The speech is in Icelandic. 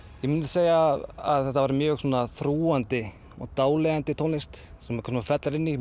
ég myndi segja að þetta væri mjög þrúgandi og dáleiðandi tónlist sem maður fellur inn í